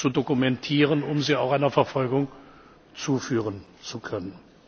Verbrechen zu dokumentieren, um sie auch einer Verfolgung zuführen